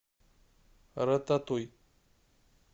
рататуй